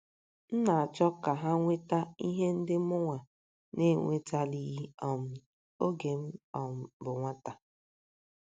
M chọrọ ka ha nweta ihe ndị mụnwa na - enwetalighị um oge m um bụ nwata. ”